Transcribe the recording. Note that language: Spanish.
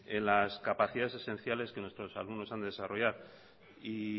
en las capacidades esenciales que nuestros alumnos han de desarrollar y